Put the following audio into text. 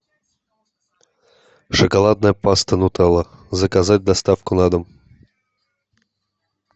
шоколадная паста нутелла заказать доставку на дом